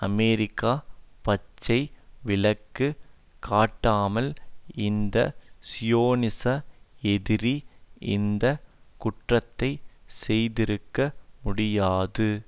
America பச்சை விளக்கு காட்டாமல் இந்த சியோனிச எதிரி இந்த குற்றத்தை செய்திருக்க முடியாது